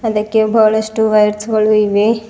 ಇದಕ್ಕೆ ಬಹಳಷ್ಟು ವಯರ್ಸ್ ಗಳು ಇವೆ.